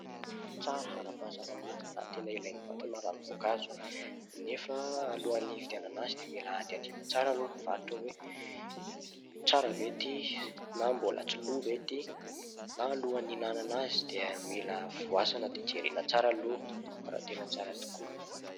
Tsara ara-pahasalamana ary tena ilain'ny vatana raha ny voankazo ; nefa alohan'ny hividianana azy dia mila hadihadiana tsara aloha ny mpivarotra hoe ''tsara ve ity na mbola tsy lo ve ity'' na alohan'ny ihinanana azy dia mila voasana dia jerena tsara aloha raha tena tsara tokoa.